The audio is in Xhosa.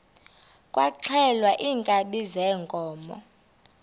kwaxhelwa iinkabi zeenkomo